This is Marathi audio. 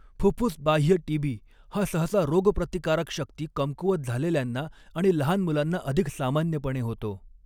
फुफ्फुसबाह्य टीबी हा सहसा रोगप्रतिकारकशक्ती कमकुवत झालेल्यांना आणि लहान मुलांना अधिक सामान्यपणे होतो.